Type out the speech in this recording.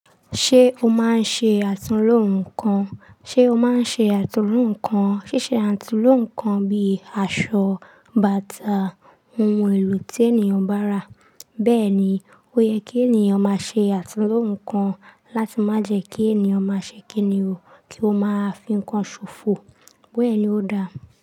Ṣé o máa ń ṣe àtúnlo nnkan? Ṣe o máa ń ṣe àtúnlo nnkan? Ṣíṣe àtúnlo nnkan bíi aṣọ, bàtà, ohun èlò tí ènìyàn bá rà. Bẹ́ẹ̀ ni, ó yẹ kí ènìyàn máa ṣe àtúnlo nnkan láti má jẹ kí ènìyàn máa ṣe kíni o, kí ó máa fi ń kan ṣòfò. Bẹ́ẹ̀ ni ó dáa.